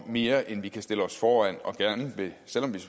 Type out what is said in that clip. mere end vi kan stille os foran selv om vi